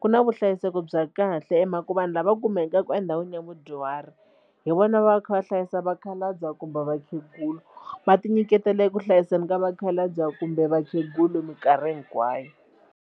ku na vuhlayiseki bya kahle hi mhaka ku vanhu lava kumekaka endhawini ya vudyuhari hi vona va kha va hlayisa vakhalabya kumbe vakhegula va tinyiketela eku hlayiseni ka vakhalabya kumbe vakhegula mikarhi hinkwayo.